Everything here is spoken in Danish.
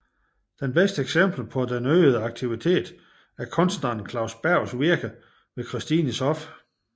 Det bedste eksempel på den øgede aktivitet er kunstneren Claus Bergs virke ved Christines hof